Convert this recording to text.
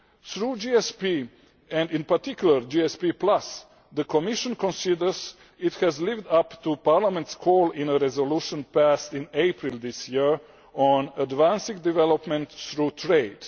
Through GSP and, in particular, GSP, the Commission considers it has lived up to Parliament's call in a resolution passed in April this year on advancing development through trade.